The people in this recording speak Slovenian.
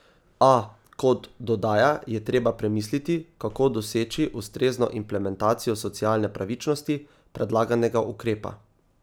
A, kot dodaja, je treba premisliti, kako doseči ustrezno implementacijo socialne pravičnosti predlaganega ukrepa.